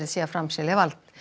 sé að framselja vald